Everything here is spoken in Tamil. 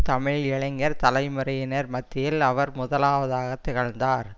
தமிழ் இளைஞர் தலைமுறையினர் மத்தியில் அவர் முதலாவதாகத் திகழ்ந்தார்